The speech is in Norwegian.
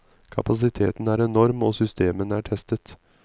Kapasiteten er enorm, og systemene er testet.